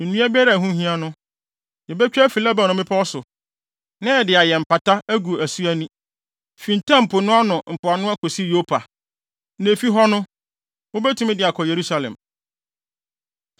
Nnua biara a ɛho hia no, yebetwa afi Lebanon mmepɔw so, na yɛde ayɛ mpata agu asu ani, fi Ntam Po no mpoano akosi Yopa. Na efi hɔ no, wubetumi de akɔ Yerusalem.”